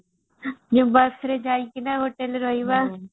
ବସ ରେ ଯାଇକିନା hotel ରେ ରହିବା